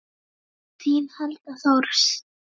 Þín Helga Thors.